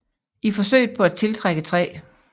I forsøget på at tiltrække 3